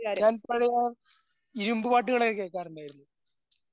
ഞാനിപ്പഴും പാട്ടുകളൊക്കെ കേൾക്കാറുണ്ടായിരുന്നു.